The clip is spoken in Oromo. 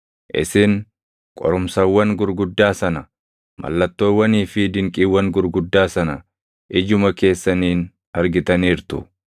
Isin qorumsawwan gurguddaa sana, mallattoowwanii fi dinqiiwwan gurguddaa sana ijuma keessaniin argitaniirtu.